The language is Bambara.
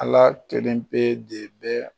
Ala jɛlen be de bɛɛ